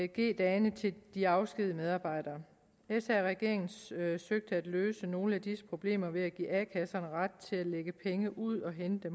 g dagene til de afskedigede medarbejdere sr regeringen søgte søgte at løse nogle af disse problemer ved at give a kasserne ret til at lægge penge ud og hente